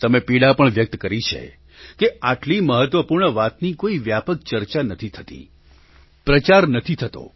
તમે પીડા પણ વ્યક્ત કરી છે કે આટલી મહત્વપૂર્ણ વાતની કોઈ વ્યાપક ચર્ચા નથી થતી પ્રચાર નથી થતો